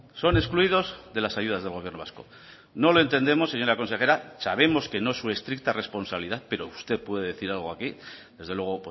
son excluidos de las ayudas del gobierno vasco no lo entendemos señora consejera sabemos que no es su estricta responsabilidad pero usted puede decir algo aquí desde luego